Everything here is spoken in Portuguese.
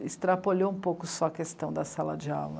Extrapolhou um pouco só a questão da sala de aula.